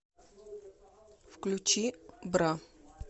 включи бра